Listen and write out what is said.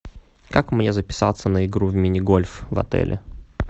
как мне записаться на игру в мини гольф в отеле